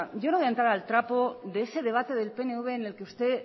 yo no voy a entrar al trapo de ese debate del pnv en el que usted